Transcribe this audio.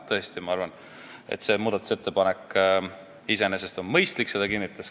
Tõesti, ma arvan, et see muudatusettepanek on iseenesest mõistlik.